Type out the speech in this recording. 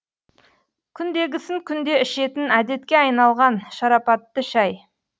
күндегісін күнде ішетін әдетке айналған шарапатты шай